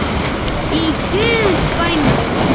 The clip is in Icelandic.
Í guðs bænum.